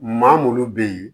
Maa munnu be yen